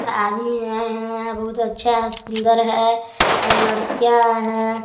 आदमी आए हैं बहुत अच्छा है सुन्दर है लड़कियां आए हैं।